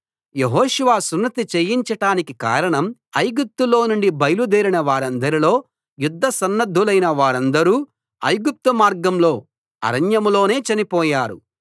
యెహోషువ సున్నతి చేయించటానికి కారణం ఐగుప్తులో నుండి బయలుదేరిన వారందరిలో యుద్ధసన్నద్ధులైన వారందరూ ఐగుప్తు మార్గంలో అరణ్యంలోనే చనిపోయారు